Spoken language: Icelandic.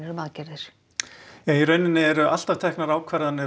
um aðgerðir í raun eru alltaf teknar ákvarðanir